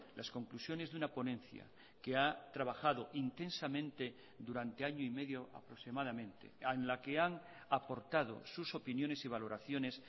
las conclusiones de una ponencia que ha trabajado intensamente durante año y medio aproximadamente en la que han aportado sus opiniones y valoraciones